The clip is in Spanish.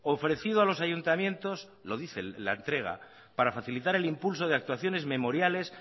ofrecido a los ayuntamientos lo dice la entrega para facilitar el impulso de actuaciones memoriales